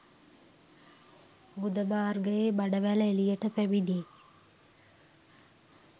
ගුද මාර්ගයේ බඩවැල එළියට පැමිණේ.